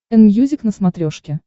энмьюзик на смотрешке